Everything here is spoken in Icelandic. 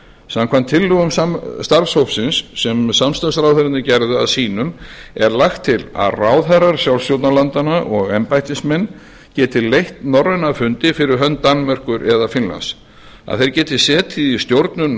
samkvæmt tillögum starfshópsins sem samstarfsráðherrarnir gerðu að sínum er lagt til að ráðherrar sjálfstjórnarlandanna og embættismenn geti leitt norræna fundi fyrir hönd danmerkur eða finnlands að þeir geti setið í stjórnum